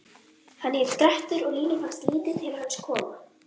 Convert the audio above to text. Hann hét Grettir og Línu fannst lítið til hans koma: